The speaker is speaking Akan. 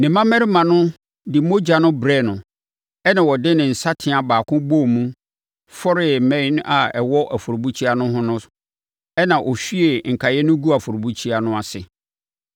Ne mmammarima no de mogya no brɛɛ no ɛnna ɔde ne nsateaa baako bɔɔ mu fɔree mmɛn a ɛwɔ afɔrebukyia no ho no ɛnna ɔhwiee nkaeɛ no guu afɔrebukyia no ase.